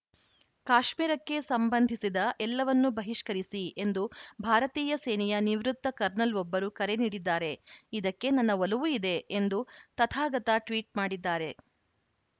ಕಾಶ್ಮೀರಕ್ಕೆ ಸಂಬಂಧಿಸಿದ ಎಲ್ಲವನ್ನೂ ಬಹಿಷ್ಕರಿಸಿ ಎಂದು ಭಾರತೀಯ ಸೇನೆಯ ನಿವೃತ್ತ ಕರ್ನಲ್‌ವೊಬ್ಬರು ಕರೆ ನೀಡಿದ್ದಾರೆ ಇದಕ್ಕೆ ನನ್ನ ಒಲವೂ ಇದೆ ಎಂದು ತಥಾಗತ ಟ್ವೀಟ್‌ ಮಾಡಿದ್ದಾರೆ